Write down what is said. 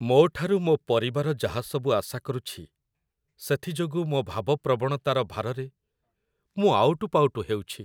ମୋ ଠାରୁ ମୋ ପରିବାର ଯାହାସବୁ ଆଶା କରୁଛି, ସେଥି ଯୋଗୁଁ ମୋ ଭାବପ୍ରବଣତାର ଭାରରେ ମୁଁ ଆଉଟୁ ପାଉଟୁ ହେଉଛି।